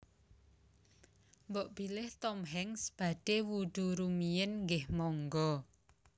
Mbok bilih Tom Hanks badhe wudhu rumiyin nggeh monggo